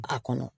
A kɔnɔ